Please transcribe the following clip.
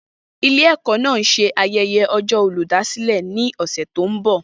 Ilé-ẹ̀kọ́ náà ń ṣe ayẹyẹ ọjọ́ olùdásílẹ̀ ní ọ̀sẹ̀ tó ń bọ̀.